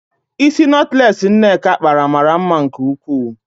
Ísí nọtlees Nneka kpara mara mma nke ukwuu.